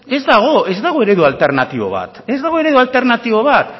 ez dago ez dago eredu alternatibo ba ez dago eredu alternatibo ba